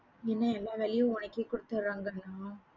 என்ன எல்லா வேலையும் உனக்கே கொடுத்துடுறாங்கன்னா?